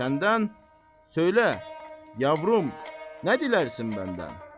Səndən, söylə, yavrum, nə dilərsən məndən?